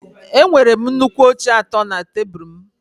Enwere m nnukwu oche atọ na tebụl m